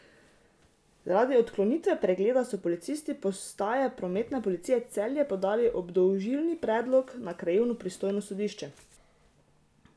Zaradi odklonitve pregleda so policisti postaje prometne policije Celje podali obdolžilni predlog na krajevno pristojno sodišče.